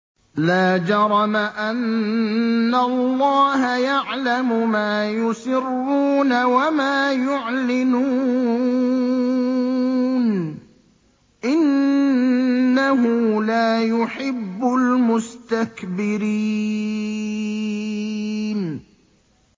لَا جَرَمَ أَنَّ اللَّهَ يَعْلَمُ مَا يُسِرُّونَ وَمَا يُعْلِنُونَ ۚ إِنَّهُ لَا يُحِبُّ الْمُسْتَكْبِرِينَ